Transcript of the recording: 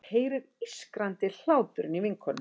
Heyrir ískrandi hláturinn í vinkonunni.